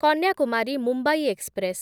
Kanyakumari Mumbai express